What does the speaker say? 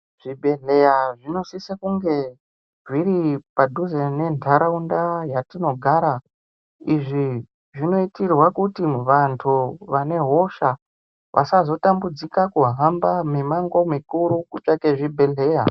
Zvibhehleya zvinosise kunge zviri padhuze ngentaraunda yatinogara. Izvi zvinoitirwe kuti vantu vane hosha vasazotambudzika kuhamba mimango mikuru kutsvake zvibhehleya.